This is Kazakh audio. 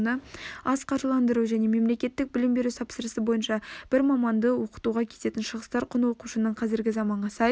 аз қаржыландыру және мемлекеттік білім беру тапсырысы бойынша бір маманды оқытуға кететін шығыстар құны оқушының қазіргі заманға сай